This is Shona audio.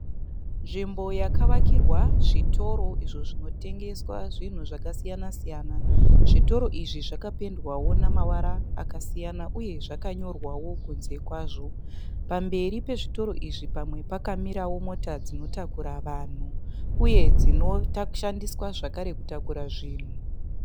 Nzvimbo yakavakirwa zvitoro izvo zvinotengeswa zvinhu zvakasiyana siyana. Zvitoro izvi zvakapendwawo nemavara akasiyana uye zvakanyorwawo kunze kwazvo. Pamberi pezvitoro izvi pamwe pakamirawo mota dzinotakura vanhu uye dzinoshandiswa zvakare kutakura zvinhu.